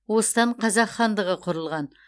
осыдан қазақ хандығы құрылған